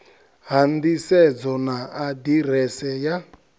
ha nḓisedzo na aḓirese ya